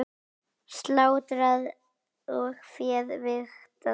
Slátrað og féð vigtað.